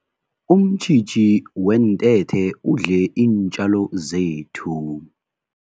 Umtjhitjhi weentethe udle iintjalo zethu.